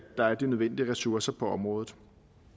der er de nødvendige ressourcer på området